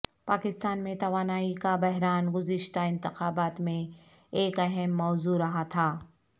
پاکستان میں توانائی کا بحران گذشتہ انتخابات میں ایک اہم موضوع رہا تھا